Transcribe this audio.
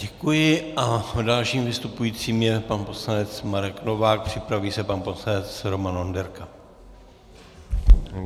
Děkuji a dalším vystupujícím je pan poslanec Marek Novák, připraví se pan poslanec Roman Onderka.